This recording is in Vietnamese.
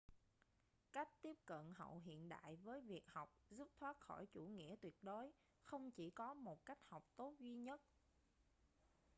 cách tiếp cận hậu hiện đại với việc học giúp thoát khỏi chủ nghĩa tuyệt đối không chỉ có một cách học tốt duy nhất